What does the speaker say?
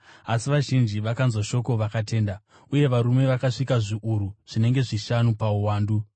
Asi vazhinji vakanzwa shoko vakatenda, uye varume vakasvika zviuru zvinenge zvishanu pauwandu.